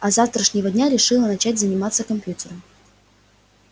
а с завтрашнего дня решила начать заниматься компьютером